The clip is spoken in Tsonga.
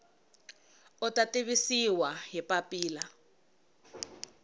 u ta tivisiwa hi papila